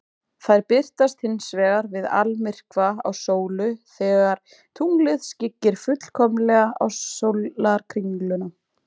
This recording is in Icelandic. Þær birtast hins vegar við almyrkva á sólu, þegar tunglið skyggir fullkomlega á sólarkringluna.